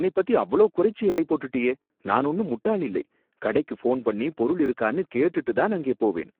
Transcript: என்னை பத்தி அவ்ளோ குறைச்சு எடை போட்டுட்டியே! நான் ஒன்னும் முட்டாள் இல்லை, கடைக்கு ஃபோன் பண்ணி பொருள் இருக்கான்னு கேட்டுட்டு தான் அங்கே போவேன்.